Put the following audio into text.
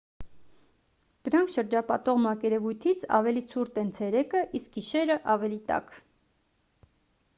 դրանք շրջապատող մակերևույթից ավելի ցուրտ են ցերեկը իսկ գիշերը ավելի տաք